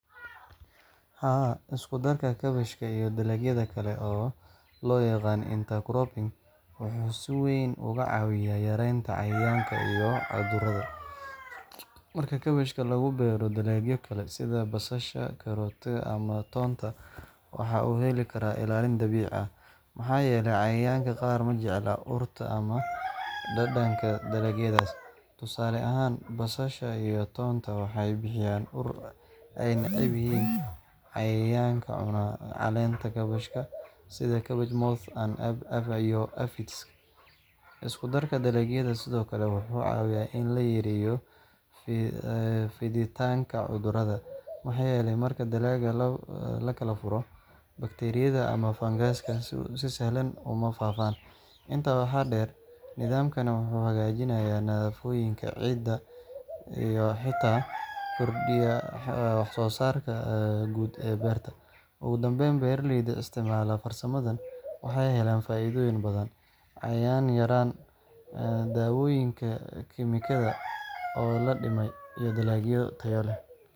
Haa, isku-darka kaabashka iyo dalagyada kale—oo loo yaqaan intercropping—wuxuu si weyn uga caawiyaa yareynta cayayaanka iyo cudurrada. Marka kaabashka lagu beero dalagyo kale sida basasha, karootada, ama toonta, waxa uu heli karaa ilaalin dabiici ah, maxaa yeelay cayayaanka qaar ma jecla urta ama dhadhanka dalagyadaas. Tusaale ahaan, basasha iyo toonta waxay bixiyaan ur ay neceb yihiin cayayaanka cuna caleenta kaabashka, sida cabbage moth iyo aphids. Isku-darka dalagyadu sidoo kale wuxuu caawiyaa in la yareeyo fiditaanka cudurrada maxaa yeelay marka dalagga la kala furo, bakteeriyada ama fangasku si sahlan uma faafaan. Intaa waxaa dheer, nidaamkani wuxuu hagaajiyaa nafaqooyinka ciidda iyo xitaa kordhiya wax-soo-saarka guud ee beerta. Ugu dambayn, beeraleyda isticmaala farsamadaan waxay helaan faa’iidooyin badan: cayayaan yaraan, daawooyinka kiimikada oo la dhimay, iyo dalagyo tayo leh.